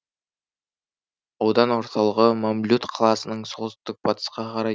аудан орталығы мамлют қаласының солтүстік батысқа қарай